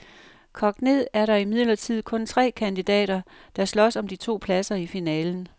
Kogt ned er der imidlertid kun tre kandidater, der slås om de to pladser i finalen.